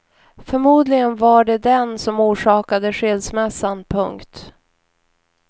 Förmodligen var det den som orsakade skilsmässan. punkt